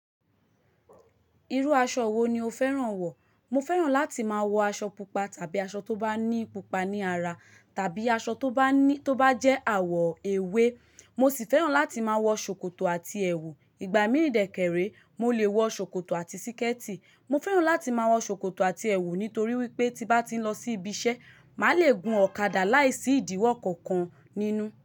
Irú aṣọ wo ni o fẹ́ràn wọ̀? Mo fẹ́ràn láti máa wọ aṣọ pupa tàbí aṣọ tó bá ní pupa ní ara, tàbí aṣọ tó bá ní, tó bá jẹ́ àwọ̀ ewé. Mo sì fẹ́ràn láti máa wọ ṣòkòtò àti ẹ̀wù. Ìgbà mí ìdèkẹ̀ré, mo lè wọ ṣòkòtò àti síkẹ́tí. Mo fẹ́ràn láti máa wọ ṣòkòtò àti ẹ̀wù nítorí wípé tí bá ti ń lọ sí ibi iṣẹ́, màá le gun ọ̀kadà láìsí ìdíwọ́ kankan nínú.